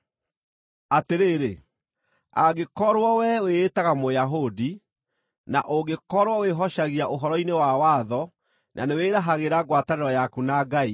Atĩrĩrĩ, angĩkorwo wee wĩĩtaga Mũyahudi; na ũngĩkorwo wĩhocagia ũhoro-inĩ wa watho na nĩwĩĩrahagĩra ngwatanĩro yaku na Ngai;